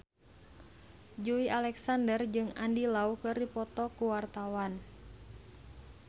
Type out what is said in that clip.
Joey Alexander jeung Andy Lau keur dipoto ku wartawan